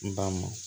N ba mɔn